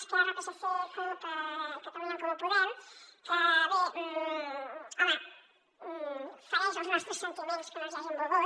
esquerra psc cup i catalunya en comú podem que bé home fereix els nostres sentiments que no ens hi hagin volgut